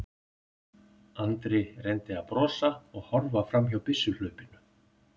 Andri reyndi að brosa og horfa fram hjá byssuhlaupinu.